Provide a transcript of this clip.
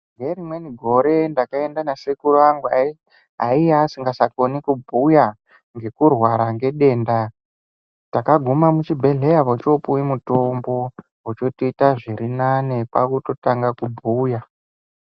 Ngerimweni gore ndakaenda nasekuru angu ayiya asingachakone kubhuya ngekurwara ngedenda. Takaguma muchibhehleya vochopuwe mutombo vochotoita zviri nani kwakutotanga kubhuya.